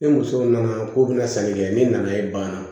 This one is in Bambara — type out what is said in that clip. Ni muso nana k'o bɛna sanni kɛ ne nana ye banna